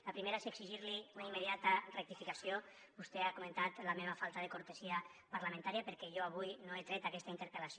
la primera és exigir li una immediata rectificació vostè ha comentat la meva falta de cortesia parlamentària perquè jo avui no he tret aquesta interpel·lació